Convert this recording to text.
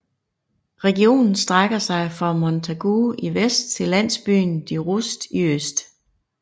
Regionen strækker sig fra Montagu i vest til landsbyen De Rust i øst